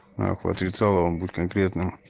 ах утрецо вам будет конкретным